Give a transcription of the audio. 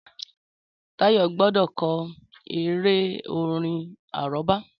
Táyọ̀ gbọ́dọ̀ ko eré-orin àrọ́bá